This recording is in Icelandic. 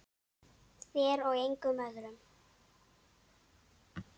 Þér og engum öðrum.